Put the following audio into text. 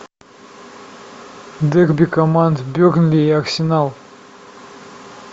дерби команд бернли и арсенал